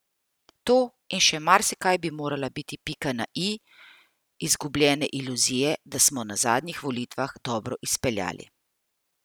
To in še marsikaj bi morala biti pika na i izgubljene iluzije, da smo na zadnjih volitvah dobro izbrali.